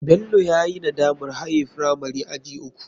Bello yayi nadamar haye firamari aji uku.